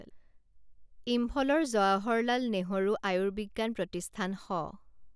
ইম্ফলৰ জৱাহৰলাল নেহৰু আৰ্য়ুবিজ্ঞান প্ৰতিষ্ঠান শ